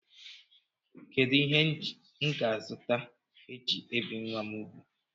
Kedụ ihe m ga-azụta e ji ebi nwa m ugwu?